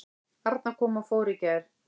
Arna kom og fór í gær.